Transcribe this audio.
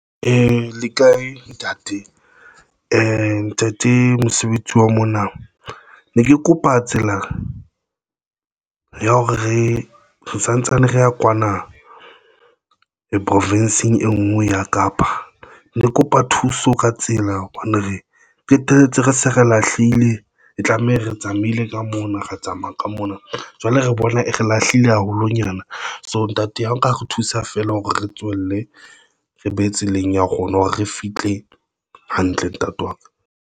Le kae ntate ntate mosebetsi wa mona ne ke kopa tsela ya hore re santsane re ya kwana, e profinsing, e ngwe ya Kapa. Ne ke kopa thuso ka tsela, hobane re qeteletse re se re lahlehile e tlameha re tsamaile ka mona, re tsamaya ka mona nna jwale re bona e re lahlile haholonyana. So ntate, ha nka re thusa feela hore re tswelle, re be tseleng ya kgona hore re fihle hantle. Ntate wa ka.